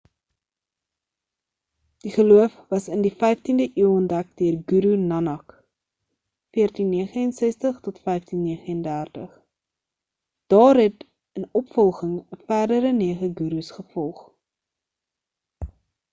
die geloof was in die 15de eeu ontdek deur guru nanak 1469-1539. daar het in opvolging ‘n verdere nege gurus gevolg